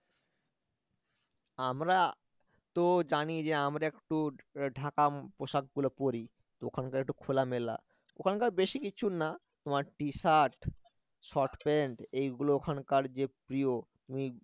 আমরা তো জানি যে আমরা একটু ঢাকা পোশাকগুলো পরি তো ওখানকার একটু খোলামেলা ওখানকার বেশি কিছু না তোমার টি শার্ট শর্ট প্যান্ট এগুলো ওখানকার যে প্রিয় তুমি